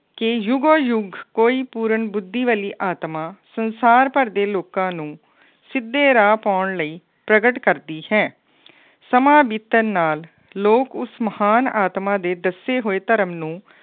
ਕਿ ਯੁੱਗੋ ਯੁੱਗ ਕੋਈ ਪੂਰਨ ਬੁੱਧੀ ਵਾਲੀ ਆਤਮਾ ਸੰਸਾਰ ਭਰ ਦੇ ਲੋਕਾਂ ਨੂੰ ਸਿੱਧੇ ਰਾਹ ਪਾਉਣ ਲਈ ਪ੍ਰਗਟ ਕਰਦੀ ਹੈ। ਸਮਾਂ ਬੀਤਣ ਨਾਲ ਲੋਕ ਉਸ ਮਹਾਨ ਆਤਮਾ ਦੇ ਦੱਸੇ ਹੋਏ ਧਰਮ ਨੂੰ